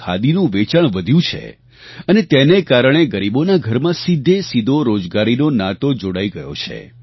ખાદીનું વેચાણ વધ્યું છે અને તેને કારણે ગરીબોના ઘરમાં સીધેસીધો રોજગારીનો નાતો જોડાઈ ગયો છે